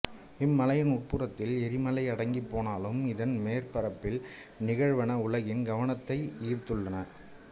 இம்மலையின் உட் புறத்தில் எரிமலை அடங்கிப் போனாலும் இதன் மேற்பரப்பில் நிகழ்வன உலகின் கவனத்தை ஈர்த்துள்ளன